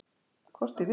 Hvort ég vil!